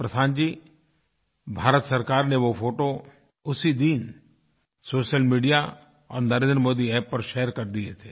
प्रशांत जी भारत सरकार ने वो फ़ोटो उसी दिन सोशल मीडिया और NarendraModiAppपर शेयर कर दिए थे